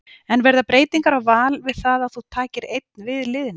En verða breytingar á Val við það að þú takir einn við liðinu?